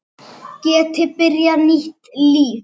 Geti byrjað nýtt líf.